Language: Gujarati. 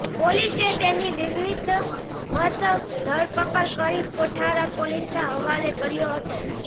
પોલીસે તેની વિધિવત ધરપકડ કરી કોઠારા પોલીસના હવાલે કર્યો હતો